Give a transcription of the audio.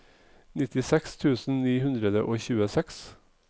nittiseks tusen ni hundre og tjueseks